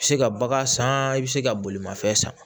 Se ka bagan san i bi se ka bolimafɛn san